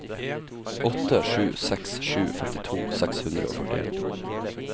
åtte sju seks sju femtito seks hundre og førtien